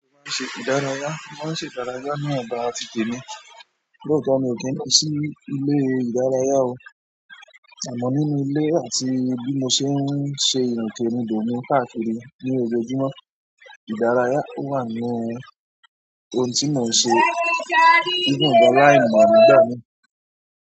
Wọn ṣe ìdárayá, wón ṣe ìdárayá ní ọgbà àti tèmi, lóòótọ́ mi ò kí ń lọ sí ilé ìdárayá o, àmọ́ nínú ilé àti bí mo ṣe ń ṣe ìrìnkèrindò mi káàkiri ní ojoojúmọ́. Ìdárayá ó wà ní ohun tí mò ń ṣe even gan-an láìmọ̀ nígbà míì.